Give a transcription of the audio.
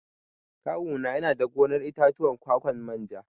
Kawu na yana da gonar itatuwan ƙwaƙwan manja.